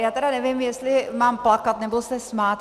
Já tedy nevím, jestli mám plakat, nebo se smát.